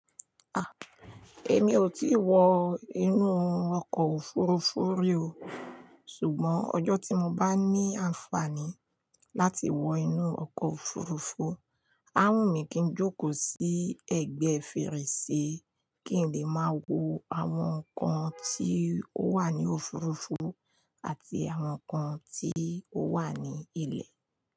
A! Èmi ò tí wọ inú ọkọ̀ òfuurufú rí o. Ṣùgbọ́n ọjọ́ tí mo bá ní àǹfààní láti wọ inú ọkọ̀ òfuurufú, a wùnmí kí n jókó sí ẹgbẹ́ fèrèsé, kí n dẹ̀ máa wo àwọn ǹkan tí ó wà nínú òfurufú àti àwọn ǹkan tí ó wà ní ilé.